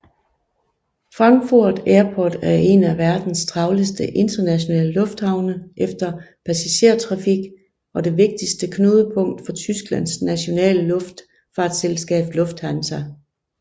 Frankfurt Airport er en af verdens travleste internationale lufthavne efter passagertrafik og det vigtigste knudepunkt for Tysklands nationale luftfartsselskab Lufthansa